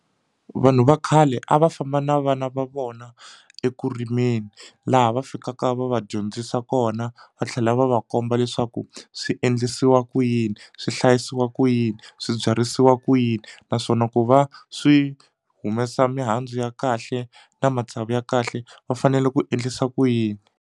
Vanhu va khale a va famba na vana va vona eku rimeni laha va fikaka va va dyondzisa kona va tlhela va va komba leswaku swi endlisiwa ku yini yini swi hlayisiwa ku yini swi byarisiwa ku yini naswona ku va swi humesa mihandzu ya kahle na matsavu ya kahle va fanele ku endlisa ku yini.